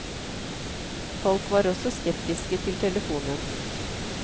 Folk var også skeptiske til telefonen.